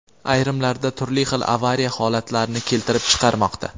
ayrimlarida turli xil avariya holatlarini keltirib chiqarmoqda.